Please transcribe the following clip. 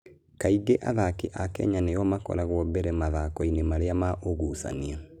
Kaingĩ athaki a Kenya nĩo makoragwo mbere mathako-inĩ marĩa ma ũgucania.